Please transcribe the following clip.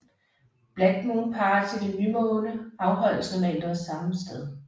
Black Moon Party ved nymåne afholdes normalt også samme sted